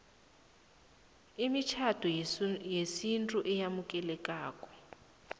imitjhado yesintu eyamukelekako